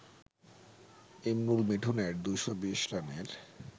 ইমরুল-মিঠুনের ২২০ রানের